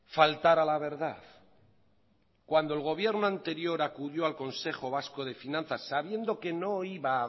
faltar a la verdad cuando el gobierno anterior acudió al consejo vasco de finanzas sabiendo que no iba a